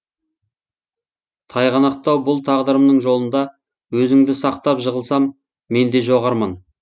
тайғанақтау бұл тағдырымның жолында өзіңді сақтап жығылсам менде жоқ арман